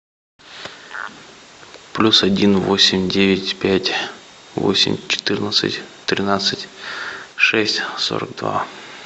плюс один восемь девять пять восемь четырнадцать тринадцать шесть сорок два